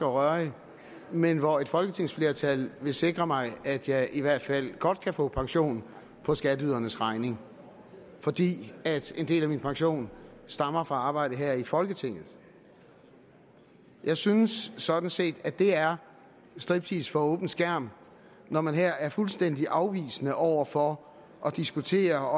og rørig men hvor et folketingsflertal vil sikre mig at jeg i hvert fald godt kan få pension på skatteydernes regning fordi en del af min pension stammer fra arbejde her i folketinget jeg synes sådan set at det er striptease for åben skærm når man her er fuldstændig afvisende over for at diskutere